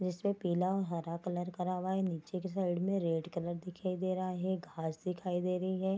जिसमे पीला और हरा कलर करा हुआ है नीचे की साइड में रेड कलर दिखाई दे रहा है घास दिखाई दे रही है।